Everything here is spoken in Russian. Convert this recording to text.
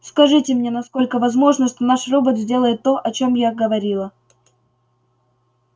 скажите мне насколько возможно что наш робот сделает то о чём я говорила